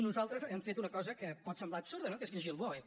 nosaltres hem fet una cosa que pot semblar absurda no que és llegir el boe